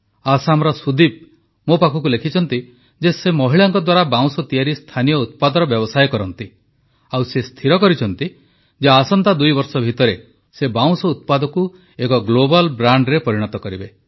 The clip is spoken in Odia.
ଆସାମର ସୁଦୀପ ମୋ ପାଖକୁ ଲେଖିଛନ୍ତି ଯେ ସେ ମହିଳାଙ୍କ ଦ୍ୱାରା ବାଉଁଶ ତିଆରି ସ୍ଥାନୀୟ ଉତ୍ପାଦର ବ୍ୟବସାୟ କରନ୍ତି ଓ ସେ ସ୍ଥିର କରିଛନ୍ତି ଯେ ଆସନ୍ତା ଦୁଇବର୍ଷ ଭିତରେ ସେ ବାଉଁଶ ଉତ୍ପାଦକୁ ଏକ ଗ୍ଲୋବାଲ୍ ବ୍ରାଣ୍ଡରେ ପରିଣତ କରିବେ